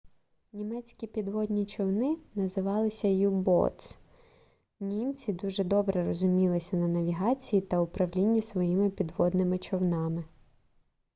німецькі підводні човни називалися u-boats німці дуже добре розумілися на навігації та управлінні своїми підводними човнами